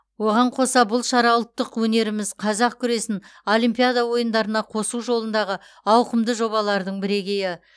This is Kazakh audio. оған қоса бұл шара ұлттық өнеріміз қазақ күресін олимпиада ойындарына қосу жолындағы ауқымды жобалардың бірегейі